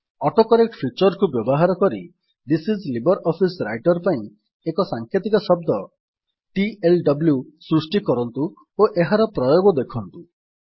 autocorrect feature କୁ ବ୍ୟବହାର କରି ଥିସ୍ ଆଇଏସ ଲିବ୍ରିଅଫିସ୍ ରାଇଟର ପାଇଁ ଏକ ସାଂକେତିକ ଶବ୍ଦ ଟିଏଲଡବ୍ଲ୍ୟୁ ସୃଷ୍ଟି କରନ୍ତୁ ଓ ଏହାର ପ୍ରୟୋଗ ଦେଖନ୍ତୁ